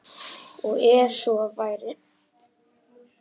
Og ef svo væri